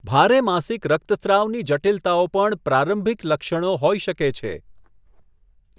ભારે માસિક રક્તસ્રાવની જટિલતાઓ પણ પ્રારંભિક લક્ષણો હોઈ શકે છે.